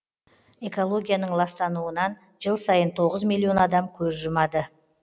экологияның ластануынан жыл сайын тоғыз миллион адам көз жұмады